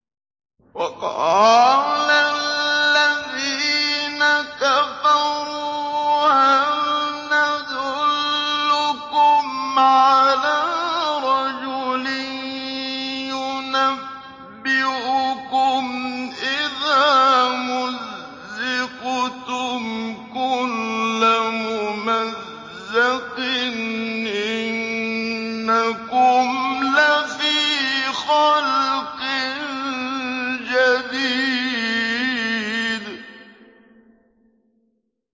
وَقَالَ الَّذِينَ كَفَرُوا هَلْ نَدُلُّكُمْ عَلَىٰ رَجُلٍ يُنَبِّئُكُمْ إِذَا مُزِّقْتُمْ كُلَّ مُمَزَّقٍ إِنَّكُمْ لَفِي خَلْقٍ جَدِيدٍ